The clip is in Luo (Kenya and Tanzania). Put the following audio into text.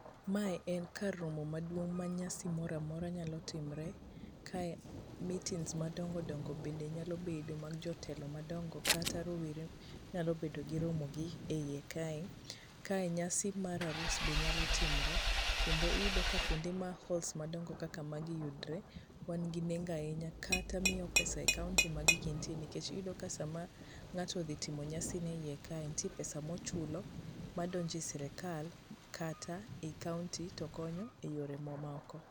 Mae en kar romo maduong' ma nyasi mora mora nyalo timre. Kae meetings madongo dongo bende nyalo bede mag jotelo madongo kata rowere nyalo bedo gi romo gi e iye kae. Kae nyasi ma arus be nyalo timre kendo iyudo ka kuonde ma halls madongo kaka magi yudre, wan gi nengo ahinya kata miyo pesa e county ma gigi nitie nikech iyudo ka saa ma ng'ato odhi timo nyasi ne e iye kae nitie pesa mochulo madonjo e serekal kata e county to konyo e yore mamoko.